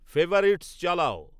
favourites চালাও